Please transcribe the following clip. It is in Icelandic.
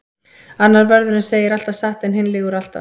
Annar vörðurinn segir alltaf satt en hinn lýgur alltaf.